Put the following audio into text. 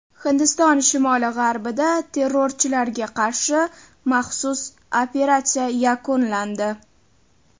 Hindiston shimoli-g‘arbida terrorchilarga qarshi maxsus operatsiya yakunlandi.